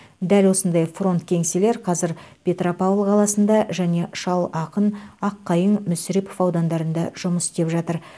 дәл осындай фронт кеңселер қазір петропавл қаласында және шал ақын аққайың мүсірепов аудандарында жұмыс істеп жатыр